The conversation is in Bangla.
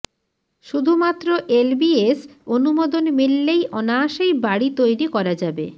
শুধুমাত্র এলবিএস অনুমোদন মিললেই অনায়াসেই বাড়ি তৈরি করা যাবে